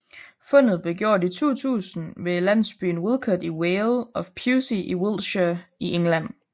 Fundet blev gjort i 2000 i ved landsbyen Wilcot i Vale of Pewsey i Wiltshire i England